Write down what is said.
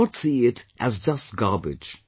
Do not see it as just garbage